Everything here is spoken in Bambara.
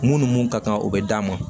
Mun ni mun ka kan o bɛ d'a ma